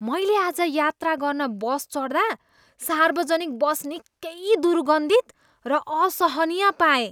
मैले आज यात्रा गर्न बस चढ्दा सार्वजनिक बस निकै दुर्गन्धित र असहनीय पाएँ।